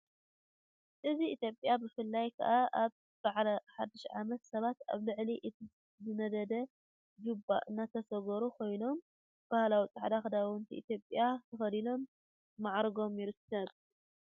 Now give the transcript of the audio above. እዚ ኢትዮጵያ ብፍላይ ከኣ አብ በዓል ሓድሽ ዓመት ሰባት ኣብ ልዕሊ እቲ ዝነደድ ቺቦ እናተሳገሩ ኮይኖም ባህላዊ ጻዕዳ ኽዳውንቲ ኢትዮጵያ ተኸዲኖም ማዓሪጎም ይርከቡ።